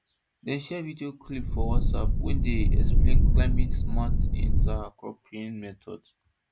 dem share video clips for whatsapp wey explain climatesmart intercropping methods